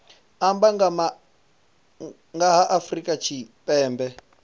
amba nga ha afrika tshipembe